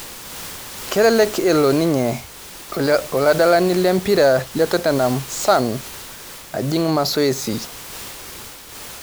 Kelelek elo ninye oladalani lempira le totenam Son ajing' masoesi